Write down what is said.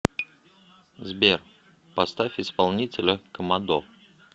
сбер поставь исполнителя комодо